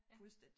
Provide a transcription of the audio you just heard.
Fuldstændig